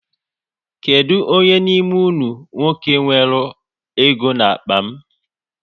Kedụ onye n'ime unu nwoke weruru ego n'akpa m